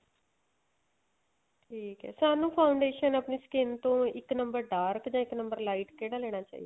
ਠੀਕ ਏ ਸਾਨੂੰ foundation ਆਪਣੀ skin ਤੋਂ ਇੱਕ number dark ਜਾਂ ਇੱਕ number lite ਕਿਹੜਾ ਲੈਣਾ ਚਾਹੀਦਾ